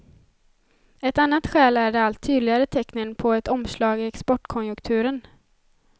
Ett annat skäl är de allt tydligare tecknen på ett omslag i exportkonjunkturen.